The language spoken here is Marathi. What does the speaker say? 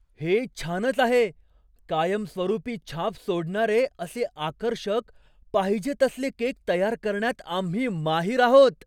हे छानच आहे! कायमस्वरूपी छाप सोडणारे असे आकर्षक, पाहिजे तसले केक तयार करण्यात आम्ही माहीर आहोत.